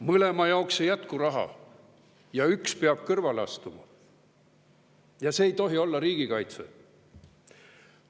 Mõlema jaoks ei jätku raha, üks peab kõrvale astuma ja see ei tohi olla riigikaitse.